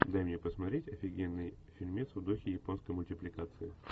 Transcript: дай мне посмотреть офигенный фильмец в духе японской мультипликации